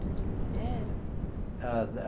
De onde eles vieram? Ah.